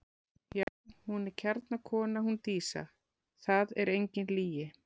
Já, hún er kjarnakona hún Dísa, það er engin lygi.